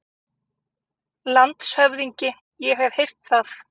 LANDSHÖFÐINGI: Ég hef heyrt það.